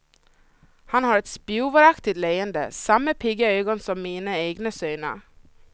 Han har ett spjuveraktigt leende, samma pigga ögon som mina egna söner.